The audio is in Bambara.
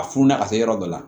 A funu na ka se yɔrɔ dɔ la